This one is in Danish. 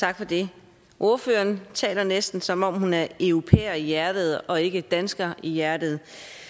tak for det ordføreren taler næsten som om hun er europæer i hjertet og ikke dansker i hjertet